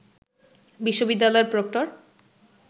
বিশ্ববিদ্যালয়ের প্রক্টর